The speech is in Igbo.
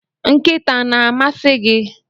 nkịta na-amasị gị?